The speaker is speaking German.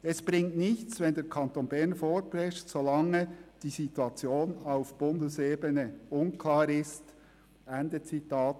Es bringe nichts, wenn der Kanton Bern vorpresche, solange die Situation auf Bundesebene unklar sei.